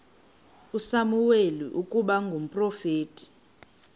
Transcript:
usamuweli ukuba ngumprofeti